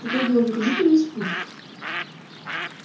какой головокружительный спуск